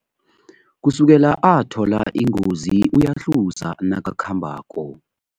Kusukela athola ingozi uyahluza nakakhambako.